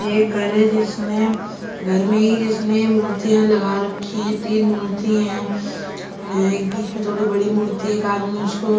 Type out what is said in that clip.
ये घर है जिसने घर में ही जिसने मूर्तियां लगा रखी है तीन मूर्ती है एक बीच में थोड़ी बड़ी मूर्ति एक आदमी उसको--